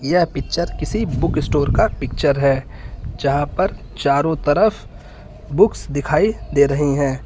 यह पिक्चर किसी book store का पिक्चर है जहां पर चारों तरफ बुक्स दिखाई दे रही हैं।